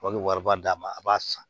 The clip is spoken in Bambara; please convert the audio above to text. An bɛ wariba d'a ma a b'a san